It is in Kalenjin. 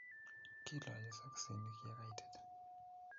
Kiilochi sokiseni ya kaitit